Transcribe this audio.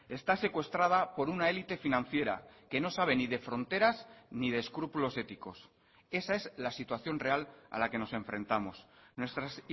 está secuestrada por una élite financiera que no sabe ni de fronteras ni de escrúpulos éticos esa es la situación real a la que nos enfrentamos nuestras